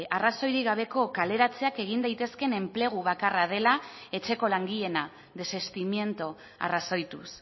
arrazoirik gabeko kaleratzeak egin daitezkeen enplegu bakarra dela etxeko langileena desestimiento arrazoituz